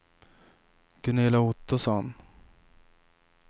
Gunilla Ottosson